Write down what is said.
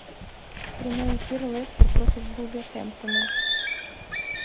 прямой эфир лестер против вулверхэмптона